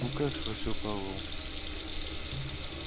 ну как спросил пауэлл